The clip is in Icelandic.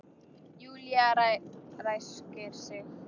Júlía ræskir sig.